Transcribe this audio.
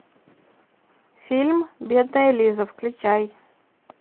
фильм бедная лиза включай